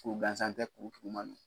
Kuru gansan tɛ kuru juguman do